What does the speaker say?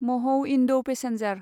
महौ इन्दौ पेसेन्जार